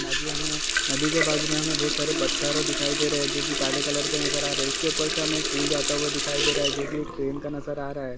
नदियां में नदी के बाजू में हमें बहुत सारे पत्थर दिखाई दे रहे है जो कि काले कलर के नज़र आ रहे है। उसके ऊपर से हमें एक पुल जाता दिखाई दे रहा है जो कि एक ट्रेन का नजर आ रहा है।